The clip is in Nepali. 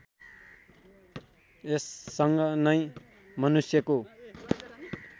यससँग नै मनुष्यको